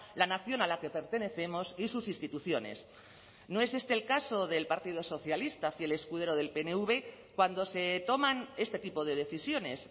la nación a la que pertenecemos y sus instituciones no es este el caso del partido socialista fiel escudero del pnv cuando se toman este tipo de decisiones